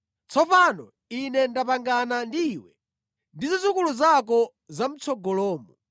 “Tsopano Ine ndapangana ndi iwe ndi zidzukulu zako zamʼtsogolomo,